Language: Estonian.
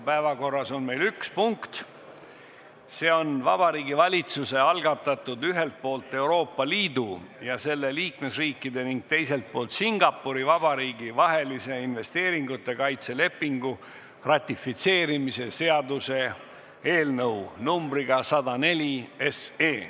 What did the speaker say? Päevakorras on meil üks punkt, see on Vabariigi Valitsuse algatatud ühelt poolt Euroopa Liidu ja selle liikmesriikide ning teiselt poolt Singapuri Vabariigi vahelise investeeringute kaitse lepingu ratifitseerimise seaduse eelnõu 104.